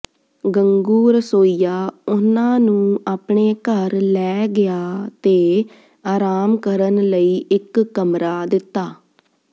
ਗੰਗੂ ਰਸੋਈਆ ਉਨ੍ਹਾਂ ਨੂੰ ਆਪਣੇ ਘਰ ਲੈ ਗਿਆ ਤੇ ਆਰਾਮ ਕਰਨ ਲਈ ਇਕ ਕਮਰਾ ਦਿੱਤਾ